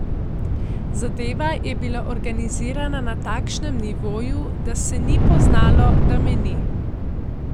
Zadeva je bil organizirana na takšnem nivoju, da se ni poznalo, da me ni.